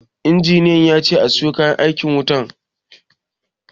Injiniya yace a siyo kayan aikin wutan